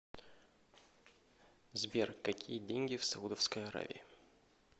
сбер какие деньги в саудовской аравии